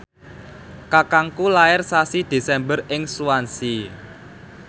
kakangku lair sasi Desember ing Swansea